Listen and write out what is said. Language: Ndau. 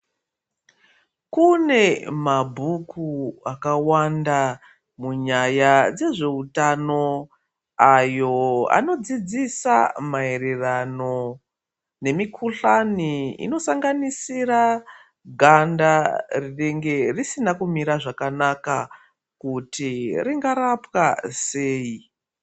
Kune mabhuku akawanda munyaya dzezvehutano. Ayo anodzidzisa maererano nemikuhlani inosanganisira ganda rinenge risina kumira zvakanaka kuti ringarapwa sei.